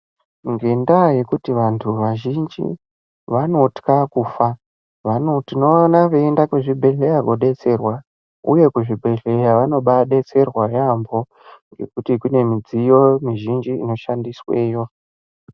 Ngendaa yekuti vandu vazhinji vanotya kufa tinoona veyienda kuzvibhedhlera kodetserwa uye kuzvibhedhlera vanobadetserwa yaambo ngekuti kune midziyo mizhinji inoshandisweyo.